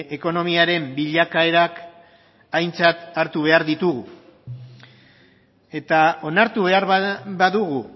ekonomiaren bilakaerak aintzat hartu behar ditugu eta onartu behar badugu